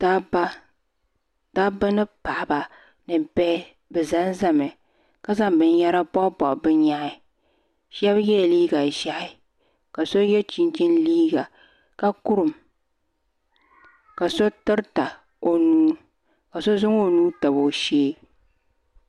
Dabba ni paɣaba ni bihi bɛ zanzami ka zaŋ binyɛra pobi pobi bɛ nyɛhi Sheba yela liiga ʒehi ka so ye chinchini liiga ka kurum ka so tirita o nuu ka so zaŋ o nuu tabi o shee.